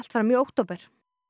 fram í október